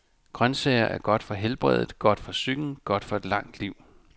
Grøntsager er godt for helbredet, godt for psyken, godt for et langt liv.